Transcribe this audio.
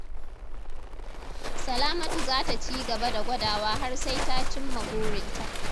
Salamatu za ta cigaba da gwadawa har sai ta cimma burinta.